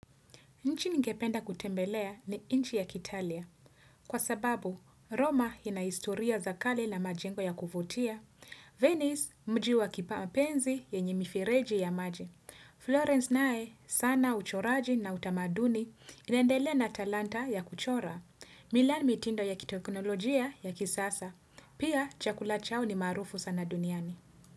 Nchi ningependa kutembelea ni nchi ya ki Italia. Kwa sababu, Roma ina historia za kale na majengo ya kuvutia. Venice mji wa kimapenzi yenye mifereji ya maji. Florence naye sana uchoraji na utamaduni inaendele na talanta ya kuchora. Milan mitindo ya kiteknolojia ya kisasa. Pia, chakula chao ni maarufu sana duniani.